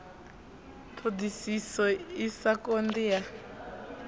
ṱhoḓisiso i sa konḓi ya